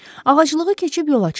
Ağaclığı keçib yola çıxdılar.